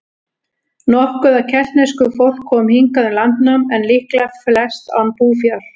Nokkuð af keltnesku fólk kom hingað um landnám, en líklega flest án búfjár.